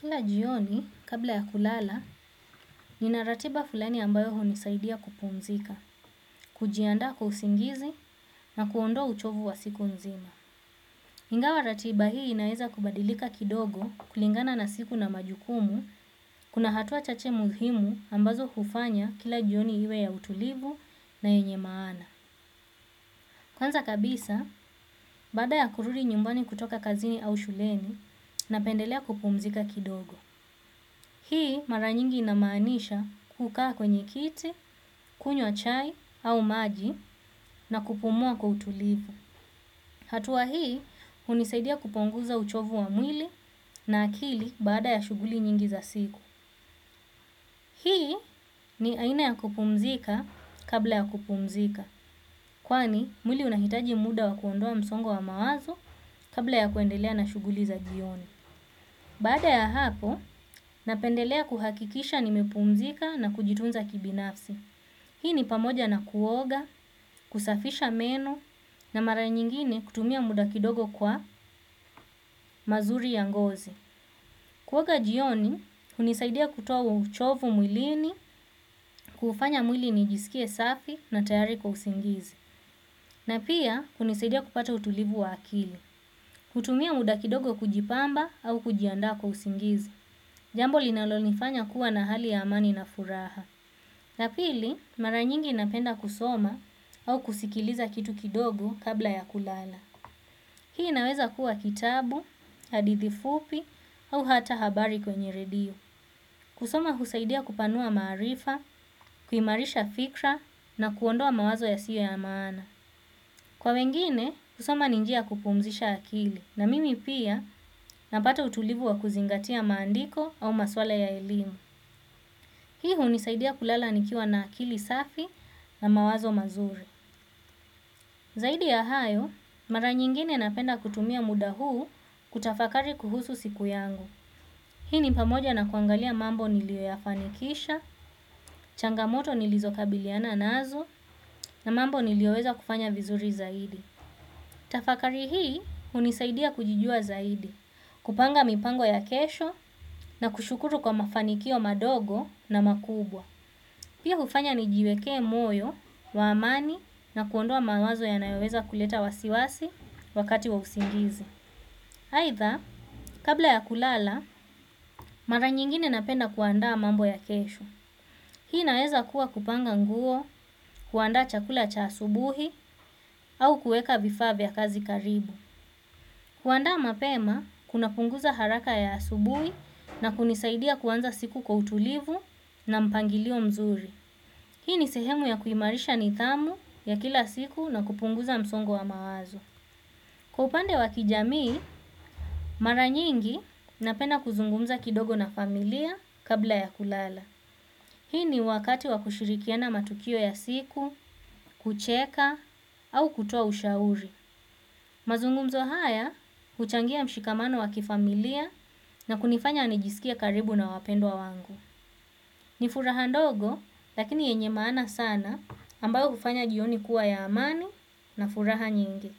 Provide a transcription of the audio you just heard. Kila jioni, kabla ya kulala, nina ratiba fulani ambayo hunisaidia kupumzika, kujiandaa kwa usingizi na kuondoa uchovu wa siku nzima. Ingawa ratiba hii inaweza kubadilika kidogo kulingana na siku na majukumu, kuna hatua chache muhimu ambazo hufanya kila jioni iwe ya utulivu na yenye maana. Kwanza kabisa, baada ya kurudi nyumbani kutoka kazini au shuleni, napendelea kupumzika kidogo. Hii mara nyingi inamaanisha kukaa kwenye kiti, kunywa chai au maji na kupumua kwa utulivu. Hatua hii hunisaidia kupunguza uchovu wa mwili na akili baada ya shughuli nyingi za siku. Hii ni aina ya kupumzika kabla ya kupumzika. Kwani mwili unahitaji muda wa kuondoa msongo wa mawazo kabla ya kuendelea na shughuli za jioni. Baada ya hapo, napendelea kuhakikisha nimepumzika na kujitunza kibinafsi. Hii ni pamoja na kuoga, kusafisha meno na mara nyingine kutumia muda kidogo kwa mazuri ya ngozi. Kuoga jioni, hunisaidia kutoa huo uchovu mwilini, kufanya mwili nijisikie safi na tayari kwa usingizi. Na pia, hunisaidia kupata utulivu wa akili. Kutumia muda kidogo kujipamba au kujiandaa kwa usingizi. Jambo linalonifanya kuwa na hali ya amani na furaha. Na pili, mara nyingi napenda kusoma au kusikiliza kitu kidogo kabla ya kulala. Hii inaweza kuwa kitabu, hadithi fupi au hata habari kwenye redio. Kusoma husaidia kupanua maarifa, kuimarisha fikra na kuondoa mawazo yasio ya maana. Kwa wengine, kusoma ni njia ya kupumzisha akili na mimi pia napata utulivu wa kuzingatia maandiko au maswala ya elimu. Hii hunisaidia kulala nikiwa na akili safi na mawazo mazuri. Zaidi ya hayo, mara nyingine napenda kutumia muda huu kutafakari kuhusu siku yangu. Hii ni pamoja na kuangalia mambo nilioyafanikisha, changamoto nilizokabiliana nazo na mambo nilioweza kufanya vizuri zaidi. Tafakari hii hunisaidia kujijua zaidi, kupanga mipango ya kesho na kushukuru kwa mafanikio madogo na makubwa. Pia hufanya nijiwekee moyo, wa amani na kuondoa mawazo yanayoweza kuleta wasiwasi wakati wa usingizi. Aidha, kabla ya kulala, mara nyingine napenda kuandaa mambo ya kesho. Hii inaeza kuwa kupanga nguo, kuandaa chakula cha asubuhi au kuweka vifaa vya kazi karibu. Kuandaa mapema, kunapunguza haraka ya asubuhi na kunisaidia kuanza siku kwa utulivu na mpangilio mzuri. Hii ni sehemu ya kuimarisha nidhamu ya kila siku na kupunguza msongo wa mawazo. Kwa upande wa kijamii mara nyingi napenda kuzungumza kidogo na familia kabla ya kulala. Hii ni wakati wa kushirikiana matukio ya siku, kucheka au kutoa ushauri. Mazungumzo haya, huchangia mshikamano wa kifamilia na kunifanya nijisikie karibu na wapendwa wangu. Ni furaha ndogo, lakini yenye maana sana ambayo hufanya jioni kuwa ya amani na furaha nyingi.